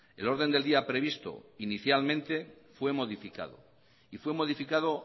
el orden del día previsto inicialmente fue modificado y fue modificado